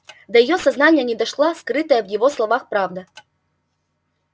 до её сознания не дошла скрытая в его словах правда